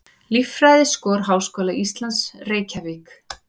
Líffræðiskor Háskóla Íslands, Reykjavík.